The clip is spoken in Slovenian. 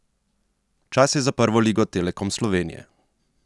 Čas je za Prvo ligo Telekom Slovenije!